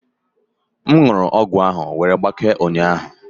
M wụrụ ọgwụ ahụ wee gbakee ụnyaahụ